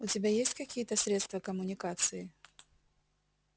у тебя есть какие-то средства коммуникации